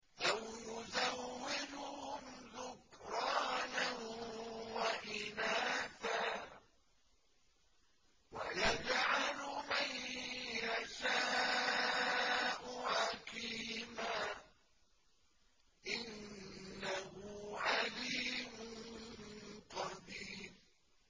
أَوْ يُزَوِّجُهُمْ ذُكْرَانًا وَإِنَاثًا ۖ وَيَجْعَلُ مَن يَشَاءُ عَقِيمًا ۚ إِنَّهُ عَلِيمٌ قَدِيرٌ